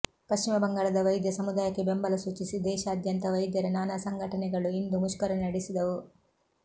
ಪಶ್ಚಿಮ ಬಂಗಾಳದ ವೈದ್ಯ ಸಮುದಾಯಕ್ಕೆ ಬೆಂಬಲ ಸೂಚಿಸಿ ದೇಶಾದ್ಯಂತ ವೈದ್ಯರ ನಾನಾ ಸಂಘಟನೆಗಳು ಇಂದು ಮುಷ್ಕರ ನಡೆಸಿದವು